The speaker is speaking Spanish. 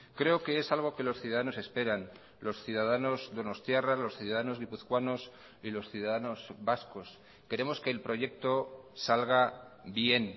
creo que es algo que los ciudadanos esperan los ciudadanos donostiarras los ciudadanos guipuzcoanos y los ciudadanos vascos queremos que el proyecto salga bien